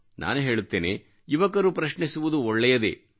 ನಾನು ಹೇಳುತ್ತೇನೆ ಯುವಕರು ಪ್ರಶ್ನಿಸುವುದು ಒಳ್ಳೆಯದೇ